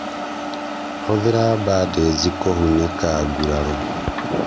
Hũthĩra bandĩji kũhũnĩka nguraro